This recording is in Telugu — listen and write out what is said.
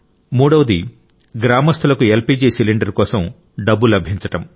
మూడవది గ్రామస్తులకు ఎల్పీజీ సిలిండర్ కోసం డబ్బు లభించడం